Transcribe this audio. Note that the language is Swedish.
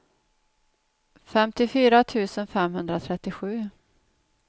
femtiofyra tusen femhundratrettiosju